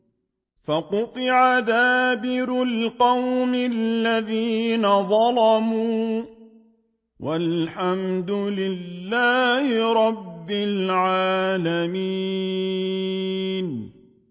فَقُطِعَ دَابِرُ الْقَوْمِ الَّذِينَ ظَلَمُوا ۚ وَالْحَمْدُ لِلَّهِ رَبِّ الْعَالَمِينَ